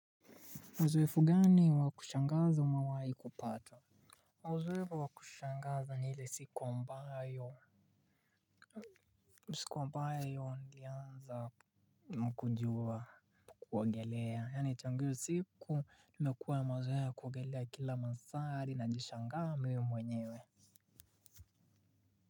Mzoefu gani wa kushangaza umawai kupata? Muzoefu wa kushangaza ni ile siku ambayo siku ambayo nilianza kujua kuogelea, yaani tangu hio siku nimekuwa na mazoea kuogelea kila masaa hadi najishangaa mimi mwenyewe.